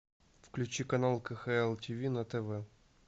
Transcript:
включи канал кхл тв на тв